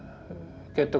gæti